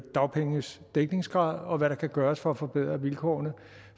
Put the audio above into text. dagpengenes dækningsgrad og hvad der kan gøres for at forbedre vilkårene